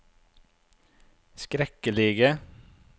skrekkelige